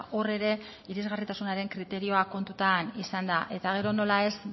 hor ere irisgarritasunaren kriterioa kontutan izan da eta gero nola ez